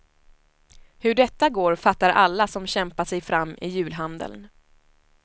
Hur detta går fattar alla som kämpat sig fram i julhandeln.